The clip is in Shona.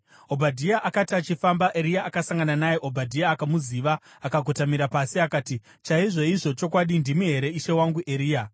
Obhadhia akati achifamba, Eria akasangana naye. Obhadhia akamuziva akakotamira pasi, akati, “Chaizvoizvo chokwadi, ndimi here ishe wangu Eria?”